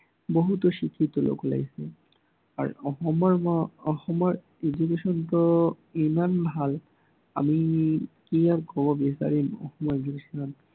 বহুতো শিক্ষক আহ আৰু অসমৰ আহ অসমৰ education টো ইমান ভাল আমি কিবা কব বিচাৰিম অসমৰ education ত